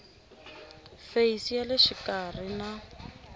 feyisi ya le xikarhi na